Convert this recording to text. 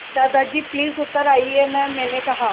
दादाजी प्लीज़ उतर आइये न मैंने कहा